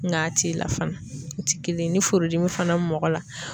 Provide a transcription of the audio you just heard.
Nga a ti la fana . U ti kelen ye ni furudimi fana bi mɔgɔ la